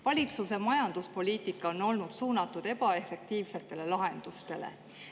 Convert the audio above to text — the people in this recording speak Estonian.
Valitsuse majanduspoliitika on olnud suunatud ebaefektiivsetele lahendustele.